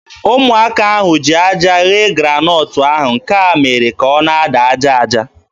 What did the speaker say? Ụmụaka ahụ ji aja ghee granọt ahụ. Nke a mere ka ọ na-ada aja aja.